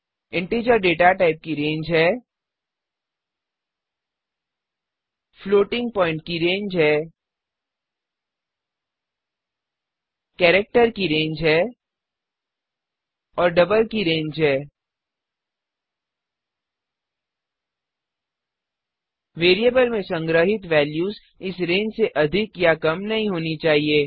integer data type की range है 32768 to 32767 floating point की रेंज है 34ई 38 केरिक्टर की रेंज है 128 टो 127 और डबल की रेंज है 17ई 308 वेरिएबल में संग्रहित वेल्यूज़ इस रेंज से अधिक या कम नहीं होनी चाहिए